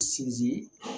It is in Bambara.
Sinzin